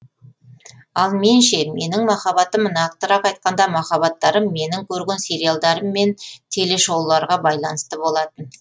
ал мен ше менің махаббатым нақтырақ айтқанда махаббаттарым менің көрген сериалдарым мен теле шоуларға байланысты болатын